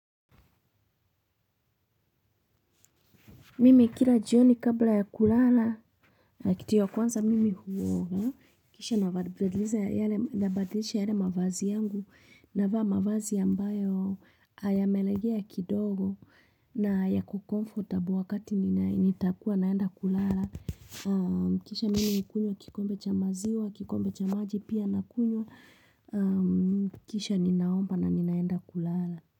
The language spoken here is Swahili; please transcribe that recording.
Mimi kila jioni kabla ya kulala. Kitu ya kwanza mimi huoga. Kisha nabadilisha yale mavazi yangu. Navaa mavazi ambayo a yamelegea kidogo. Na yako comfortable wakati nina nitakuwa naenda kulala. Kisha mimi hukunywa kikombe cha maziwa. Kikombe cha maji pia nakunywa. Kisha ninaomba na ninaenda kulala.